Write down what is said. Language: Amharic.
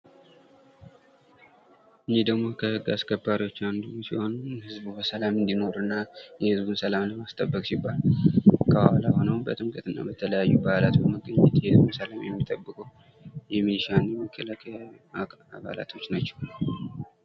ይህ ደግሞ ከህግ አስከባሪዎች አንዱ ሲሆን ህዝቡ በሰላም እንዲኖርና የህዝቡ ሰላም ለማስጠበቅ ሲባል። ከኋላ ሆኖ በጥምቀት እና በተለያዩ በዓላት ሰላምን የሚጠብቁ የሚኒሻ መከላከያ አባላት ናቸው።